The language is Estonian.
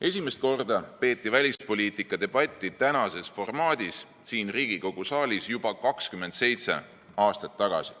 Esimest korda peeti välispoliitika debatti tänases formaadis siin Riigikogu saalis juba 27 aastat tagasi.